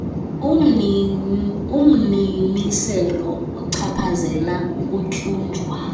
ummiselo ochaphazela ukutyunjwa